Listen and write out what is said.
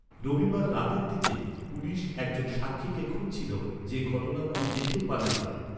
রবিবার রাতের দিকে, পুলিশ একজন সাক্ষীকে খুঁজছিল, যে ঘটনাগুলি দেখেও পালিয়ে যায়।